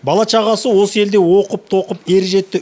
бала шағасы осы елде оқып тоқып ер жетті